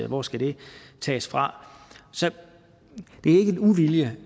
hvor skal de tages fra så det er ikke uvilje